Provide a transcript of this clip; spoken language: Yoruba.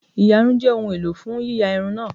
íyarún jẹ ohun elò fun yiya irun naa